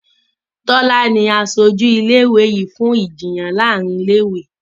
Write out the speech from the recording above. Tola ní asojú ilé ìwé yí fún Ìjiyàn láàrin ilé ìwé.